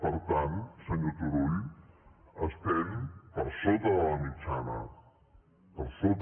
per tant senyor turull estem per sota de la mitjana per sota